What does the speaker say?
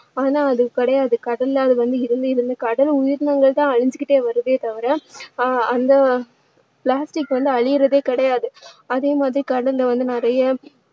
ஆனா அது கிடையாது கடல்ல அது வந்து இருந்து இருந்து கடல் உயிரினங்கள் தான் அழிஞ்சிக்கிட்டே வருதே தவிர அஹ் அந்த plastic வந்து அழியுறதே கிடையாது அதே மாதிரி கடல்ல வந்து நிறைய